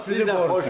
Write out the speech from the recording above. Allah sizi qorusun.